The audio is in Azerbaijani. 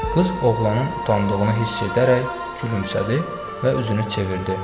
Qız oğlanın utandığını hiss edərək gülümsədi və üzünü çevirdi.